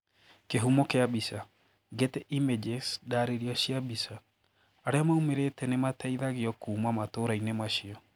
Kihumo kia bica, Getty Images ndaririo cia bica, Aria maumirite nimateithagio kuuma matura-ini macio